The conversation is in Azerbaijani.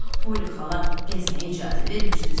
Axı Poli xala gəzməyə icazə vermişdi.